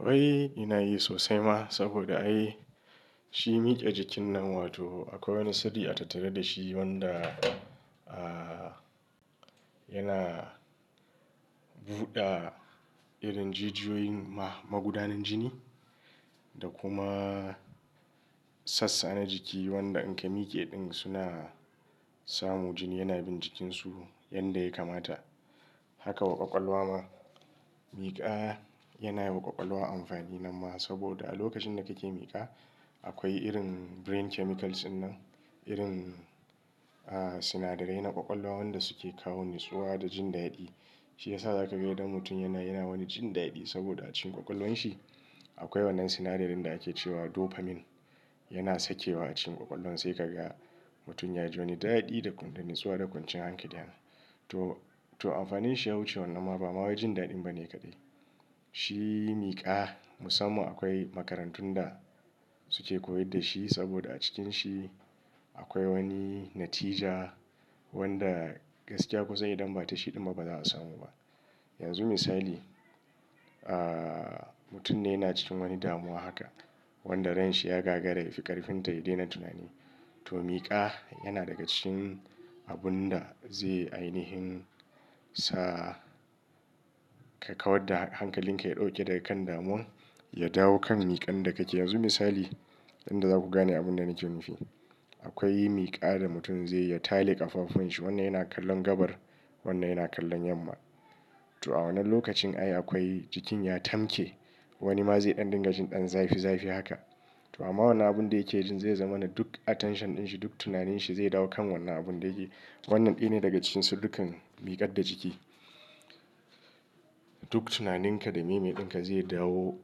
Wai ina yi sosai ma saboda ai shi miƙa jikin nan, wato akwai wani siri a tattare da shi wanda, ah, yana buɗa irin jijiyoyin ma magudanin jini da kuma sassa na jiki wanda in ka miƙe ɗin suna samu jini yana bin jikinsu yanda ya kamata. Haka wa ƙwaƙwalwa ma miƙa yana yi wa ƙwaƙwalwa amfani nan ma saboda a lokacin da ka ke miƙa akwai irin brain chemicals ɗinnan, irin, ah, sinadarai na ƙwaƙwalwa wanda su ke kawo nitsuwa da jin daɗi. Shi ya sa za ka ga idan mutum yana, yana wani jin daɗi saboda a cikin ƙwaƙwalwan shi akwai wannan sinadari da ake cewa dopamine yana sakewa a cikin ƙwaƙwalwan sai ka ga mutum ya ji wani daɗi da ƙum nitsuwa da ƙwanciyan hankali. To, to amfanin shi ya wuce wannan ma ba ma wajen daɗin ba ne kaɗai. Shi miƙa musamman akwai makarantun da su ke koyar da shi saboda a cikin shi akwai wani natija wanda gaskiya kusa idan ba ta shi ɗin ba ba za su samu ba. Yanzu misali, ah, mutum ne yana cikin wani damuwa haka wanda rai shi ya gagara ya fi ƙarfin tayi daina tunani. To miƙa yana daga cikin abun da zai ainihin sa ka kawar da hankalin ka ya ɗauke daga kan damuwan, ya dawo kan miƙan da ka ke. Yanzu misali, inda za ku gane abun da nake nufi. Akwai miƙa da mutum zai, ya tale ƙafafun shi wannan yana kallon gabar, wannan yana kallon yamma. To a wannan lokacin ai akwai jikin ya tamke, wani ma zai ɗan dinga jin ɗan zafi zafi haka. To amma wannan abun da yake jin zai zama na duk attention ɗin shi, duk tunanin shi zai dawo kan wannan abun da yake. Wannan ɗaya ne daga cikin su dukkan miƙar da jiki. Duk tunaninka da meme ɗin ka zai dawo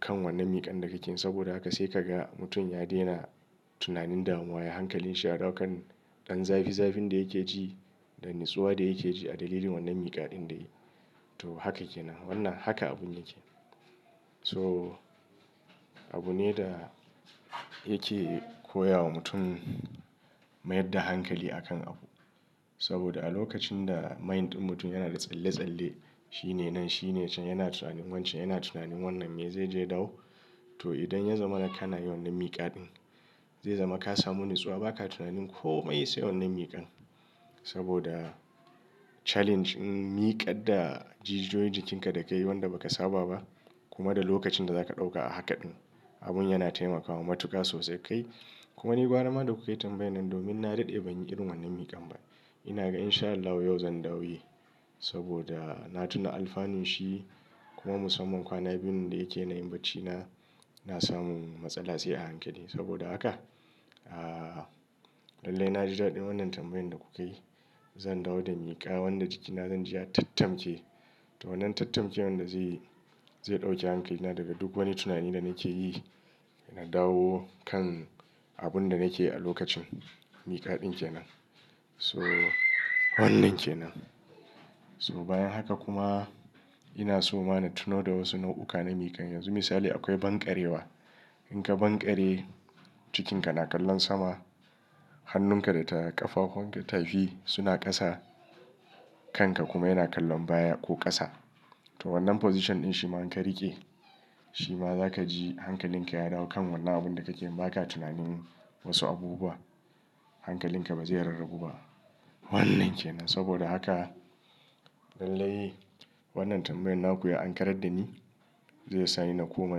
kan wannan miƙan da ka ke saboda haka sai ka ga mutum ya daina tunanin damuwa, ya hankalin shi ya dawo kan ɗan zafi zafin da yake ji da nitsuwa da yake ji a dalilin wannan miƙa ɗin da yayi. To haka ke nan. Wannan haka abun yake. So abu ne da yake koya wa mutum mayar da hankali a kan abu. Saboda a lokacin da mind ɗin mutum yana da tsalle tsalle, shi ne nan, shi ne can, yana tunanin wancen, yana tunanin wannan me zai je dawo. To idan ya zama ka na yi wannan miƙa ɗin, zai zama ka samu nitsuwa, ba ka tunanin komai sai wannan miƙan. Saboda challenge miƙar da jijiyoyin jikinka da ka yi wanda ba ka saba ba kuma da lokacin da za ka ɗauka a haka ɗin, abun yana taimakawa matuka sosai kai. Kuma ni gwara ma da kuka yi tambayan nan domin na daɗe ban yi irin wannan miƙan ba. Ina ga in sha Allah yau zan dawo yi saboda na tuna alfanun shi kuma musamman kwana biyun da yake na yin baccina, na samu matsala sai a hankali. Saboda haka, ah, lallai na ji daɗin wannan tambayan da ku ka yi. Zan dawo da miƙa wanda jikina zan ji ya tattamke. To wannan tattamke wanda zai, zai ɗauke hankali na daga duk wani tunani da nake yi na dawo kan abun da nake yi a lokacin miƙa ɗin ke nan. So wannan ke nan. So bayan haka kuma ina so ma na tuno da wasu nau'uka na miƙan. Yanzu misali akwai banƙarewa. In ka banƙare, jikinka na kallon sama, hannunka da ta ƙafafun ka tafi suna ƙasa, kanka kuma yana kallon baya ko ƙasa. To wannan position ɗin shi ma in ka riƙe, shi ma za ka ji hankalin ka ya dawo kan wannan abun da kake yi. Ba ka tunanin wasu abubu wa. Hankalin ka ba zai rarrabu ba. Wannan ke nan. Saboda haka lallai wannan tambayan naku ya ankarar da ni. Zai sa ni na koma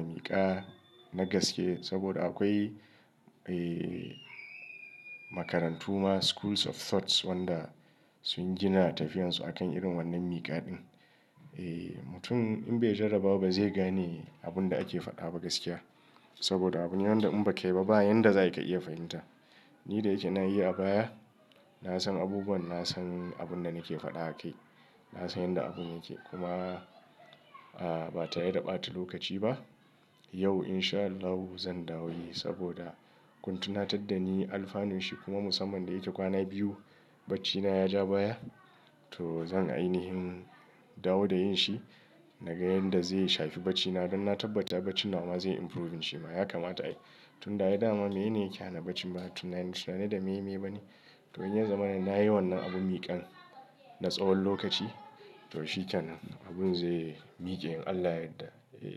miƙa na gaske saboda akwai, eh, makarantu ma schools of thoughts wanda sun gina tafiyan su a kan irin wannan miƙa ɗin. Eh, mutum in bai jarra ba ba zai gane abun da ake faɗa ba gaskiya. Saboda abun ne wanda in ba ka yi ba, ba yanda za'ayi ka iya fahimta. Ni da yake na yi a baya, na san abubuwan, na san abun da nake faɗa akai. Na san yanda abun yake. Kuma, ah, ba tare da ba ta lokaci ba. Yau in sha Allahu zan dawo yi saboda kun tunatar da ni alfanun shi kuma musamman da yake kwana biyu baccina ya ja baya. To zan ainihin dawo da yin shi. Na ga yanda zai shafi baccina don na tabbata bacci nawa ma zai improve shi ma. Ya kamata ai tun ai daman menene yake hana bacci? Ba Tunani, tunani da meyeye ba ne? To in ya zama na yi wannan abun miƙan na tsawon lokaci to shi kenan abun zai miƙe in Allah yadda, eh.